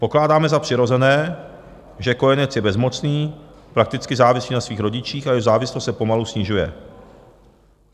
Pokládáme za přirozené, že kojenec je bezmocný, prakticky závislý na svých rodičích a jeho závislost se pomalu snižuje.